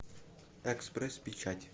экспресс печать